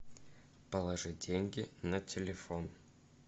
положи деньги на телефон